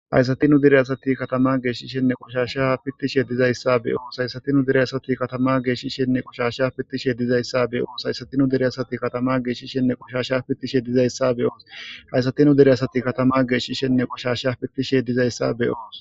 Hayisatiu dire asati katama geeshshishenne qoshasha pittishe dizayssa beyo saysatinu dire asati katama geeshshishshenne qoshasha pittishe dizayssa beyoos haysatu dire asati katama geeshishenne qoshasha pittishe dizayssa be oos fayssati dire asati katama geeshshishenne qoshashsha pittishe dizayssa beyos